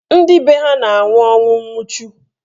Ndị be ha na-anwụ ọnwụ nwuchu.